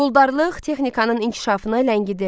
Quldarlıq texnikanın inkişafını ləngidirdi.